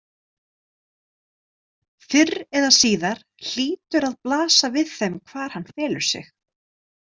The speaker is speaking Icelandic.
Fyrr eða síðar hlýtur að blasa við þeim hvar hann felur sig.